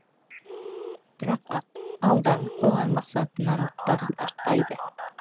бірақ алдағы қойған мақсатынан бас тартпайды